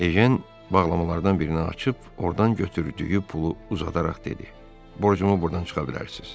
Ejen bağlamalardan birini açıb ordan götürdüyü pulu uzadaraq dedi: Borcumu burdan çıxa bilərsiz.